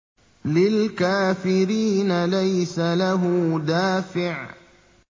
لِّلْكَافِرِينَ لَيْسَ لَهُ دَافِعٌ